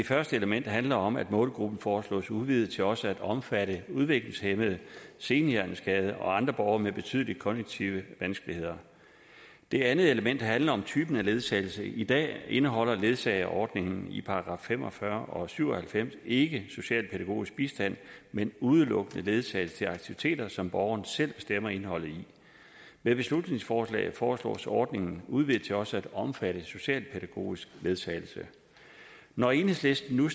første element handler om at målgruppen foreslås udvidet til også at omfatte udviklingshæmmede senhjerneskadede og andre borgere med betydelige kognitive vanskeligheder det andet element handler om typen af ledsagelse i dag indeholder ledsageordningen i § fem og fyrre og § syv og halvfems ikke socialpædagogisk bistand men udelukkende ledsagelse til aktiviteter som borgeren selv bestemmer indholdet af med beslutningsforslaget foreslås ordningen udvidet til også at omfatte socialpædagogisk ledsagelse når enhedslisten nu